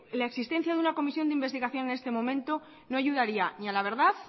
la existencia de una comisión de investigación en este momento no ayudaría ni a la verdad